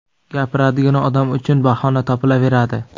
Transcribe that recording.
Gapiradigan odam uchun bahona topilaveradi.